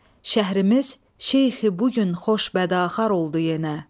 Şəhərimiz şeyxi bu gün xoş bədaxar oldu yenə.